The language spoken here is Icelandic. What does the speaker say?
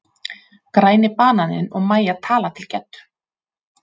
Græni bananinn og Mæja tala til Geddu.